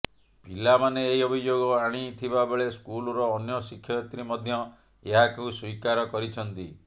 ପିଲାମାନେ ଏହି ଅଭିଯୋଗ ଆଣିଥିବାବେଳେ ସ୍କୁଲର ଅନ୍ୟ ଶିକ୍ଷୟତ୍ରୀ ମଧ୍ୟ ଏହାକୁ ସ୍ୱୀକାର କରିଛନ୍ତି